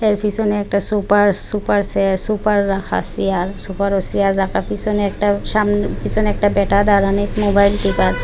এর পিসনে একটা সোপার সোপার সেট সোপার রাখা আসে আর সোপারও সেয়ার রাখা আর পিসনে একটা সাম পিসনে একটা ব্যাটা দাঁড়ানি মোবাইল টিপায়।